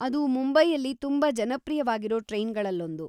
ಅದು ಮುಂಬೈಯಲ್ಲಿ ತುಂಬಾ ಜನಪ್ರಿಯವಾಗಿರೋ ಟ್ರೈನ್‌ಗಳಲ್ಲೊಂದು.